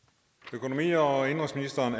økonomi og indenrigsministeren